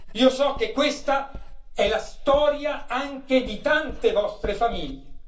Io so che questa è la storia anche di tante vostre famiglie.